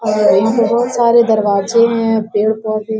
और बहुत सारे दरवाजे है पेड़ पौधे --